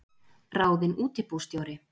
Ráðinn útibússtjóri